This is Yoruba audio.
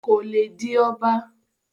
kò le di ọba